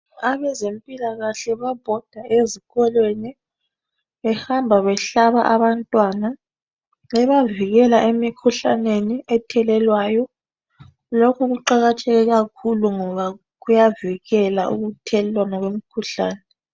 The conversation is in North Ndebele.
Abezempilakahle bayabhoda ezikolweni behamba behlaba abantwana bebavikela emikhuhlaneni ethelelwayo. Lokhu kuqakatheke kakhulu ngoba kuyavikela ukuthelelwana kwemikhuhlane.